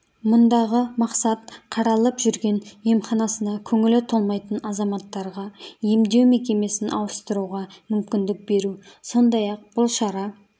мұндағы мақсат қаралып жүрген емханасына көңілі толмайтын азаматтарға емдеу мекемесін ауыстыруға мүмкіндік беру сондай-ақ бұл шара